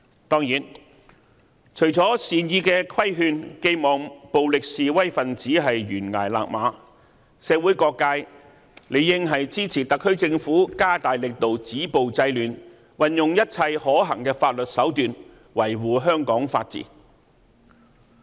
當然，除了善意的規勸，寄望暴力示威分子懸崖勒馬，社會各界理應支持特區政府加大力度止暴制亂，運用一切可行法律手段，維護香港法治。